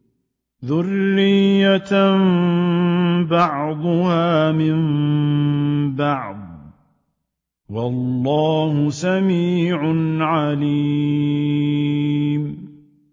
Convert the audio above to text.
ذُرِّيَّةً بَعْضُهَا مِن بَعْضٍ ۗ وَاللَّهُ سَمِيعٌ عَلِيمٌ